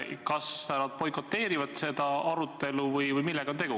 Kas nad boikoteerivad seda arutelu või millega on tegu?